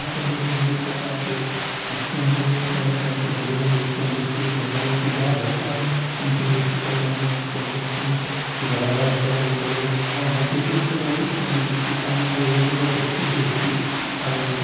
यहाँ पे अपनी फेमली के साथ आ के रेस्टोरंट में तरह-तरह के भोजन इत्यादि केक वगेरा pizza burger chicken chilli chicken naan chicken मिस्टान छोले भटूरे पावभाजी कई प्रकार के इत्यादि होती है सारी खा गए यहाँ पर बहोत अच्छी टेस्टी खाना मिलता है ।